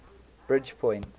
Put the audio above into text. bridgepoint